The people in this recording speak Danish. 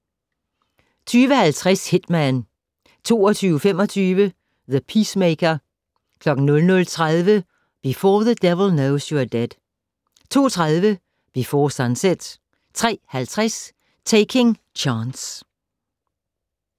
20:50: Hitman 22:25: The Peacemaker 00:30: Before the Devil Knows You're Dead 02:30: Before Sunset 03:50: Taking Chance